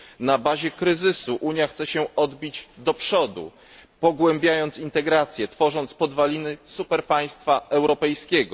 Na bazie kryzysu Unia chce się odbić do przodu, pogłębiając integrację, tworząc podwaliny super państwa europejskiego.